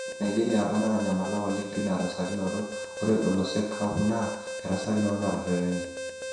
Nigeria apa natanyamala oleng tina rasakinoto ,ore olosek sapuk naa erasakinoto naretenae.